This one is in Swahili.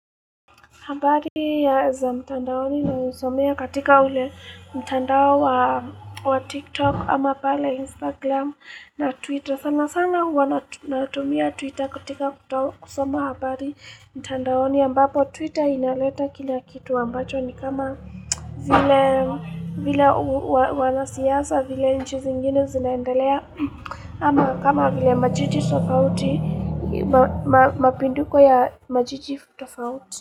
Habari za mtandaoni na usomea katika ule mtandao wa TikTok ama pala Instagram na Twitter. Sana sana huwa natumia Twitter katika kusoma habari mtandaoni ambapo Twitter inaleta kina kitu ambacho ni kama vile wanasiasa vile nchi zingine zinaendelea. Ama kama vile majiji tofauti mapinduko ya majiji tofauti.